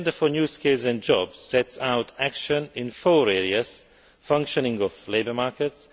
An agenda for new skills and jobs sets out action in four areas functioning of labour markets